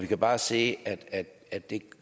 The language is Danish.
kan bare se at at det ikke